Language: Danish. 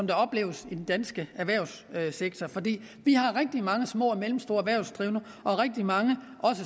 der opleves i den danske erhvervssektor vi har rigtig mange små og mellemstore erhvervsdrivende og rigtig mange